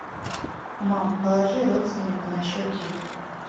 мам положи родственнику на счет деньги